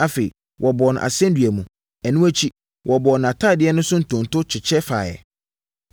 Afei, wɔbɔɔ no asɛnnua mu. Ɛno akyi, wɔbɔɔ nʼatadeɛ no so ntonto kyekyɛ faeɛ.